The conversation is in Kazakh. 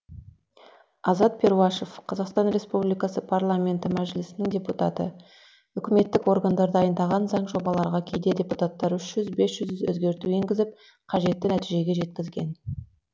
азат перуашев қазақстан республикасы парламенті мәжілісінің депутаты үкіметтік органдар дайындаған заң жобаларға кейде депутаттар үш жүз бес жүз өзгерту енгізіп қажетті нәтижеге жеткізген